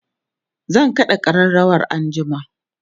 zan kaɗa ƙararawar anjima